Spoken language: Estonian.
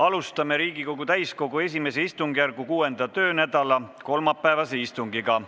Alustame Riigikogu täiskogu I istungjärgu 6. töönädala kolmapäevast istungit.